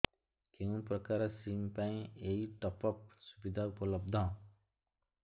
କେଉଁ ପ୍ରକାର ସିମ୍ ପାଇଁ ଏଇ ଟପ୍ଅପ୍ ସୁବିଧା ଉପଲବ୍ଧ